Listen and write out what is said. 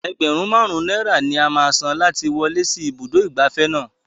Ẹgbẹ̀rún Márùn-ún náírà ni a máa san láti wọlé sí ibùdó ìgbafẹ́ náà.